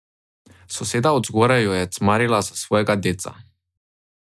Soseda od zgoraj jo je cmarila za svojega deca.